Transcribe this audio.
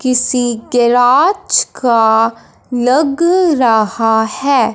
किसी गैराज का लग रहा है।